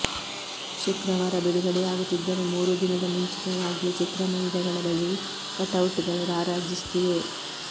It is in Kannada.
ಶುಕ್ರವಾರ ಬಿಡುಗಡೆಯಾಗುತ್ತಿದ್ದರೂ ಮೂರು ದಿನದ ಮುಂಚಿತವಾಗಿಯೇ ಚಿತ್ರಮಂದಿರಗಳ ಬಳಿ ಕಟೌಟ್ಗಳು ರಾರಾಜಿಸುತ್ತಿವೆ